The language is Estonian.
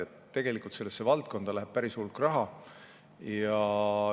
Nii et tegelikult sellesse valdkonda läheb päris hulk raha.